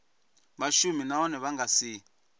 vhashumi nahone vha nga si